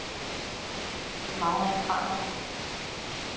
Magna Cramer